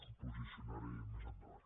em posicionaré més endavant